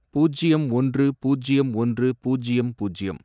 பூஜ்யம் ஒன்று, பூஜ்யம் ஒன்று, பூஜ்யம் பூஜ்யம்